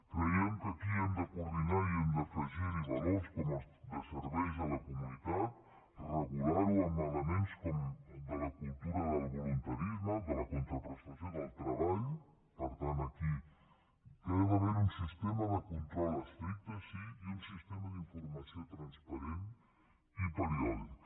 creiem que aquí hem de coordinar i hem d’afegir hi valors com els de serveis a la comunitat regular ho amb elements com el de la cultura del voluntarisme de la contraprestació del treball per tant aquí que ha d’haver hi un sistema de control estricte sí i un sistema d’informació transparent i periòdic